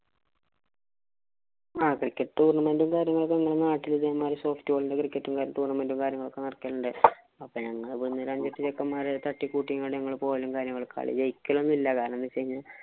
ആഹ് cricket tournament ഉം കാര്യങ്ങളും ഒക്കെ ഞങ്ങടെ നാട്ടില്‍ ഇതേമാതിരി ന്‍റെ tournament ഉം, കാര്യങ്ങളും നടക്കണുണ്ട്. അപ്പം ഞങ്ങള് ഇവിടുന്നു രണ്ടെട്ട് ചെക്കന്മാര് തട്ടിക്കൂട്ടി ഞങ്ങള് പോകലും, കാര്യങ്ങളും ഒക്കെ കളി ജയിക്കലൊന്നുമില്ല. കാരണം എന്ന് വച്ച് കഴിഞ്ഞാല്‍